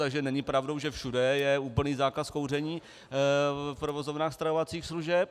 Takže není pravdou, že všude je úplný zákaz kouření v provozovnách stravovacích služeb.